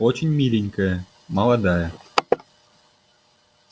очень миленькая молодая